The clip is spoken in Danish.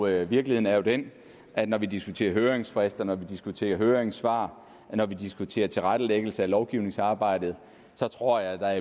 her virkeligheden er jo den at når vi diskuterer høringsfrist når vi diskuterer høringssvar og når vi diskuterer tilrettelæggelse af lovgivningsarbejdet så tror jeg at der